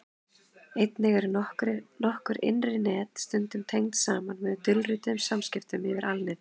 einnig eru nokkur innri net stundum tengd saman með dulrituðum samskiptum yfir alnetið